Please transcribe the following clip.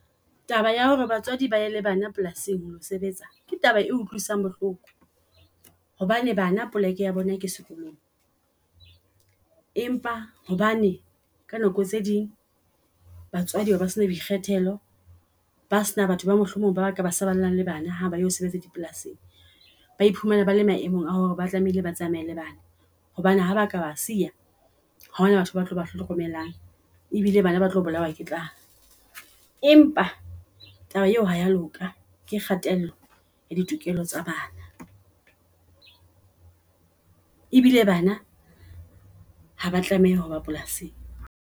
Taba ya hore batswadi ba ye le bana polasing ho lo sebetsa ke taba e utlwisang bohloko. Hobane bana poleke ya bona ke sekolong. Empa hobane ka nako tse ding batswadi ba be ba sena boikgethelo ba sena batho ba mohlomong baka basallang le bana haba yo sebetsa di polasing. Bae phumana bale maemong a hore ba tlamehile ba tsamaye le bana. Hobane ha baka ba siya ha hona batho batlo ba hlokomelang. E bile bana ba tlo bolawa ke tlala. Empa taba eo ha ya loka ke kgatello ya ditokelo tsa bana, e bile bana haba tlameha hoba polasing.